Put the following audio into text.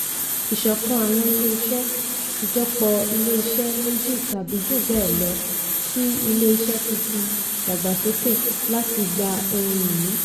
ìṣọ̀kan àwọn ilé-iṣẹ́ - ìjọpọ̀ ilé-iṣẹ́ méjì tàbí jù bẹ́ẹ̀ lọ tí ilé-iṣẹ́ tuntun dàgbàsókè láti gba ohun-ìní.